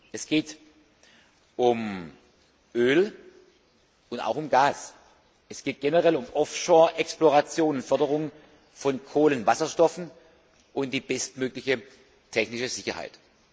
Es geht um Öl und auch um Gas. Es geht generell um Off shore Exploration und Förderung von Kohlenwasserstoffen und die bestmögliche technische Sicherheit.